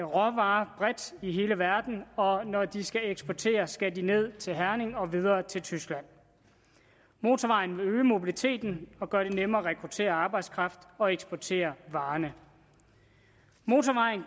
råvarer bredt i hele verden og når de skal eksportere skal de ned til herning og videre til tyskland motorvejen vil øge mobiliteten og gøre det nemmere at rekruttere arbejdskraft og eksportere varer motorvejen